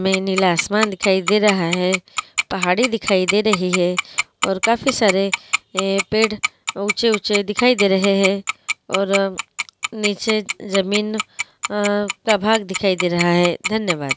मे नीला आसमान दिखाई दे रहा है पहाड़ी दिखाई दे रही है और काफी सारे ए पेड़ ऊँचे ऊँचे दिखाई दे रहे है और निचे जमीन अ प्रभाग दिखाई दे रहा है धन्यवाद।